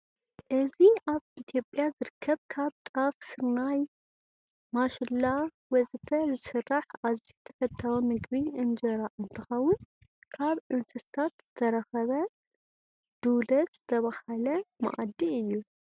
እዚ አብ ኢትዮጵያ ዝርከብ ካብ ጣፍ፣ ስርናይ፣ ማሽላ ወዘተ ዝስራሕ አዝዩ ተፈታዊ ምግቢ እንጀራ እንትኸውን ካብ እንሰሳት ዝተረኸበ ድውለት ዝተዳለወ መአዲ እዩ።